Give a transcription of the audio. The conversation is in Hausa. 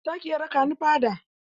Za ki iya raƙa ni fada?